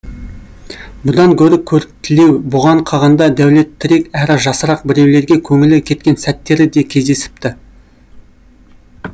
бұдан гөрі көріктілеу бұған қағанда дәулеттірек әрі жасырақ біреулерге көңілі кеткен сәттері де кездесіпті